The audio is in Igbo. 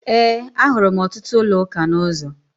Ee, ahụrụ m ọtụtụ ụlọụka n'ụzọ.